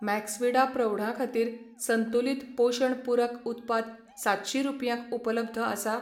Maxvida प्रौढां खातीर संतुलित पोशण पूरक उत्पाद सातशीं रुपयांक उपलब्ध आसा?